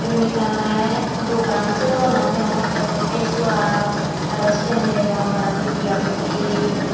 yeb ekkan olay dogan say dogananot degongottey mui face wash arow syen degong arow nevia kirim .